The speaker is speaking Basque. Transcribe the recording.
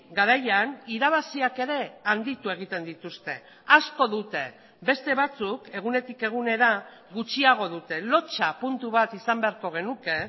garaian irabaziak ere handitu egiten dituzte asko dute beste batzuk egunetik egunera gutxiago dute lotsa puntu bat izan beharko genuke